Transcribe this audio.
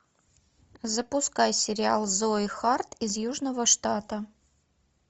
запускай сериал зои харт из южного штата